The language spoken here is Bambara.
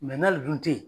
n'ale dun tɛ yen